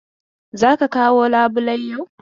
Za ka kawo labulai yau!